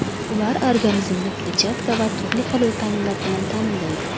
Ular organizmni kletchatka va turli xil vitaminlar bilan ta’minlaydi.